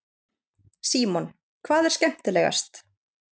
Símon: Hvað er skemmtilegast?